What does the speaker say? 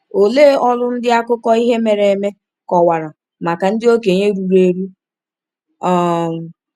Olee ọrụ ndị akụkọ ihe mere eme kọwara maka ndị okenye ruru eru? um